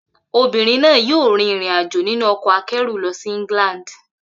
Obìnrin náà yóò rin ìrìn-àjò nínú ọkọ̀ akẹ́rù lọ sí England.